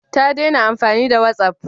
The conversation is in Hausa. Ta dena amfani da watsaf?